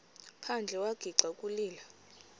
phandle wagixa ukulila